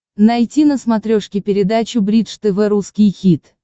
найти на смотрешке передачу бридж тв русский хит